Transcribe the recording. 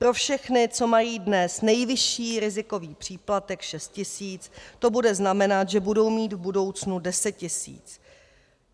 Pro všechny, co mají dnes nejvyšší rizikový příplatek 6 tisíc, to bude znamenat, že budou mít v budoucnu 10 tisíc.